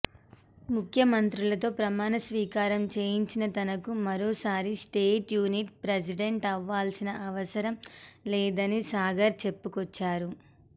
ముఖ్యమంత్రులతో ప్రమాణ స్వీకారం చేయించిన తనకు మరోసారి స్టేట్ యూనిట్ ప్రెసిడెంట్ అవ్వాల్సిన అవసరం లేదని సాగర్ చెప్పుకొచ్చారు